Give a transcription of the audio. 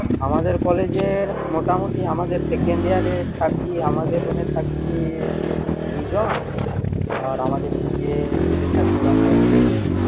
আমাদের college এর মোটামুটি আমাদের second year এর থাকি আমাদের room এ থাকি দুজন আর আমাদের নিচের bed এ থাকে ওরা থাকে